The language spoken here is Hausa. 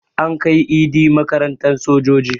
An kai Idi makarantan sojoji